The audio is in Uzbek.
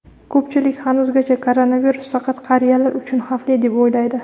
ko‘pchilik hanuzgacha koronavirus faqat qariyalar uchun xavfli deb o‘ylaydi.